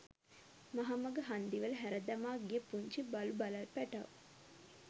මහමග හන්දිවල හැරදමා ගිය පුංචි බලුබළල් පැටව්